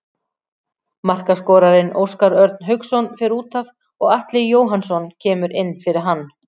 Markaskorarinn Óskar Örn Hauksson fer útaf og Atli Jóhannsson kemur inn fyrir hann.